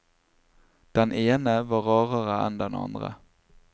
Den ene var rarere enn den andre.